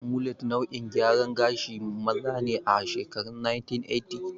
Mulet nau'in gyaran gashin maza ne a shekarun 1980s.